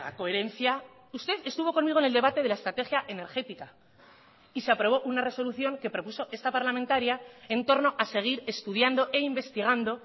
coherencia usted estuvo conmigo en el debate de la estrategia energética y se aprobó una resolución que propuso esta parlamentaria en torno a seguir estudiando e investigando